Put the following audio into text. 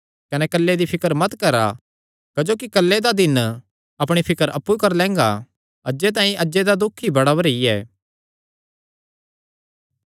कने कल्ले दी फिकर मत करा क्जोकि कल्ले दा दिन अपणी फिकर अप्पु करी लैंगा अज्जे तांई अज्जे दा ई दुख बड़ा भरी ऐ